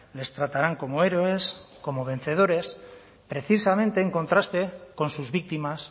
les tratarán como héroes como vencedores precisamente en contraste con sus víctimas